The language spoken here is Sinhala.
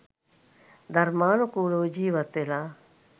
ධර්මානුකූලව ජීවත්වෙලා